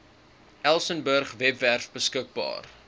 elsenburg webwerf beskikbaar